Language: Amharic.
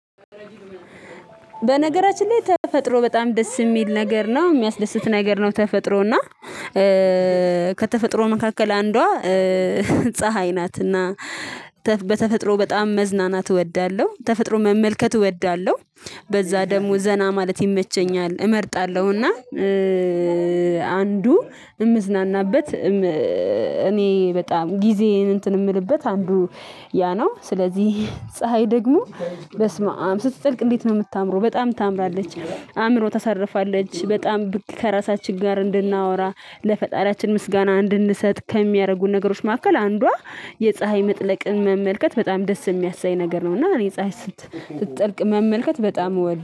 በነገራችን ላይ ተፈጥሮ በጣም ደስ የሚል ነገር ነው የሚያስደስት ነገር ነው ተፈጥሮ እና ከተፈጥሮ መካከል አንዷ ፀሀይ ናትና በተፈጥሮ በጣም መዝናናት እወዳለሁ ተፈጥሮ መመልከት እወዳለሁ። በዛ ደግሞ ዘና ማለት ይመቸኛል እመርጣለሁና እና አንዱ እምዝናናበት እኔ በጣም ጊዜዬን እንትን የምልበት አንዱ ያ ነው። ስለዚህ ፀሀይ ደግሞ በስመአም ስትጥልቅ እንዴት ነው የምታምረው በጣም ታምራለች። አእምሮ ታሳርፋለች በጣም ከራሳችን ጋር እንድናወራ ለፈጣሪያችን ምስጋና እንድንሰጥ ከሚያደርጉን ነገሮች መካከል አንዷ የፀሀይ መጥለቅን መመልከት በጣም ደስ የሚያሰኝ ነገር ነው። እና እኔ ፀሀይ ስት ስጠልቅ መመልከት በጣም እወ